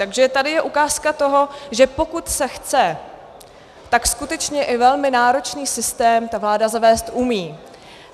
Takže tady je ukázka toho, že pokud se chce, tak skutečně i velmi náročný systém ta vláda zavést umí.